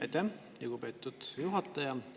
Aitäh, lugupeetud juhataja!